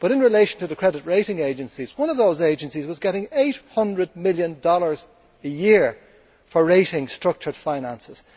But, in relation to the credit rating agencies, one of those agencies was getting USD 800 million a year for rating structured finances.